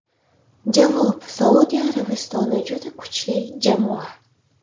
Javob: Saudiya Arabistoni juda kuchli jamoa.